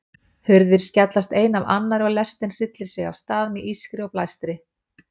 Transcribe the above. Hurðir skellast ein af annarri og lestin hryllir sig af stað með ískri og blæstri.